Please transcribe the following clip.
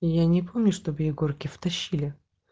я не помню чтоб егорке втащили